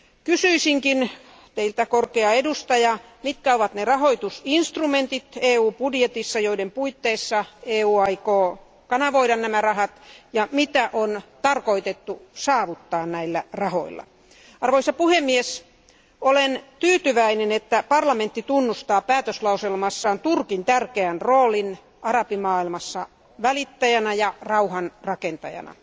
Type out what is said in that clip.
Kysyisinkin Teiltä, korkea edustaja, mitkä ovat ne rahoitusvälineet EUn budjetissa, joiden puitteissa EU aikoo kanavoida nämä rahat ja mitä on tarkoitus saavuttaa näillä rahoilla. Olen tyytyväinen, että parlamentti tunnustaa päätöslauselmassaan Turkin tärkeän roolin arabimaailmassa välittäjänä ja rauhanrakentajana.